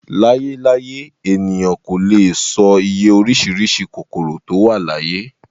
Láyé láyé, ènìyàn kò lè e sọ iye orísìírísìí kòkòrò tó wà láyé